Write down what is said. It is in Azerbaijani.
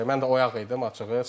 Mən də oyaq idim, açığı.